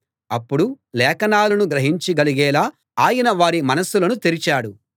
అప్పుడు లేఖనాలను గ్రహించగలిగేలా ఆయన వారి మనసులను తెరిచాడు